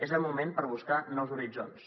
és el moment per buscar nous horitzons